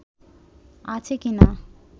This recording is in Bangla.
আছে কি-না